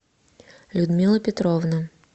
людмила петровна